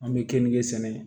An bɛ kenige sɛnɛ